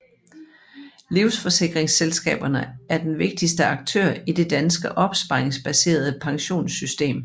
Livsforsikringsselskaberne er den vigtigste aktør i det danske opsparingsbaserede pensionssystem